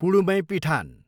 पुढुमैपिठान